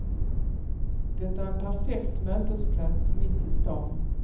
Det är en perfekt mötesplats mitt i stan.